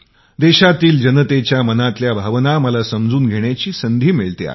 देशातील जनतेच्या मनातील भावना मला समजून घेण्याची संधी मिळते आहे